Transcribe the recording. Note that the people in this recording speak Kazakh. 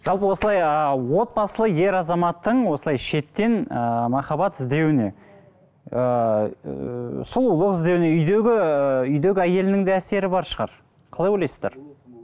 жалпы осылай ыыы отбасылы ер азаматтың осылай шеттен ыыы махаббат іздеуіне ыыы сұлулық іздеуіне үйдегі ыыы үйдегі әйелінің де әсері бар шығар қалай ойлайсыздар